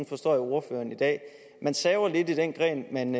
forstår jeg ordføreren i dag man saver lidt i den gren man